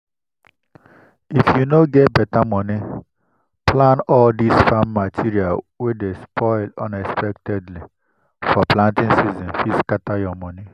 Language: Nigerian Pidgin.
if you no get better money plan all this farm materials wey dey spoil unexpectedly for planting season fit scatter your money.